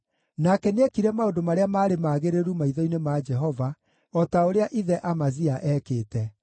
Nake nĩekire maũndũ marĩa maarĩ magĩrĩru maitho-inĩ ma Jehova, o ta ũrĩa ithe Amazia eekĩte.